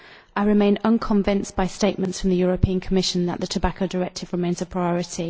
I remain unconvinced by statements from the Commission that the Tobacco Directive remains a priority.